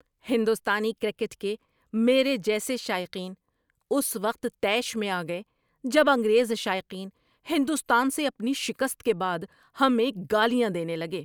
ہندوستانی کرکٹ کے میرے جیسے شائقین اس وقت طیش میں آ گئے جب انگریز شائقین ہندوستان سے اپنی شکست کے بعد ہمیں گالیاں دینے لگے۔